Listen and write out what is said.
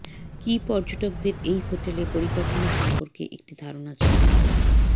কি পর্যটকদের এই হোটেলে পরিকাঠামো সম্পর্কে একটি ধারণা ছিল